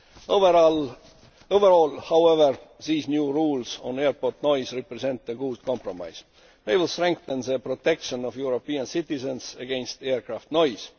Overall, however, these new rules on airport noise represent a good compromise. They will strengthen the protection of European citizens against aircraft noise.